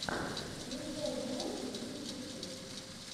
включай влоги в ютубе